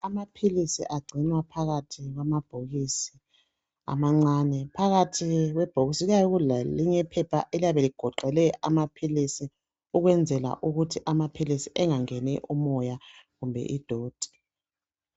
Amaphilisi agcinwana phakathi kwamabhokisi amancane phakathi kwebhokisi kuyabe kulelinye iphepha eliyabe ligoqele amaphilisi ukwenzela ukuthi amaphilisi engangeni umoya kumbe idoti.